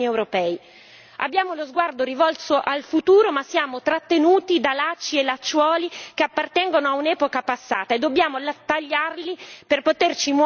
Abbiamo lo sguardo rivolto al futuro ma siamo trattenuti da lacci e lacciuoli che appartengono a un'epoca passata e dobbiamo tagliarli per poterci muovere in avanti.